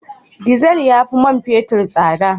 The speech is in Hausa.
Diesel ya fi man fetur tsada